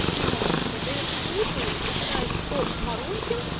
и ты можешь создаёшь посылку выбираешь фоп марочин